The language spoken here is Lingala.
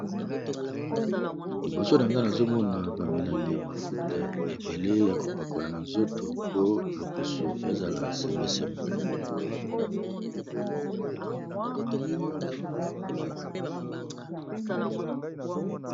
Liboso nanga nazomona ba milangi ya mafuta ebele ya kopakola na nzoto po loposo ezala sembe sembe.